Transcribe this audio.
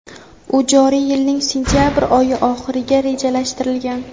u joriy yilning sentyabr oyi oxiriga rejalashtirilgan.